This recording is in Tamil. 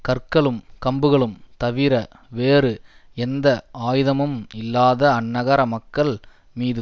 கற்களும் கம்புகளும் தவிர வேறு எந்த ஆயுதமும் இல்லாத அந்நகர மக்கள் மீது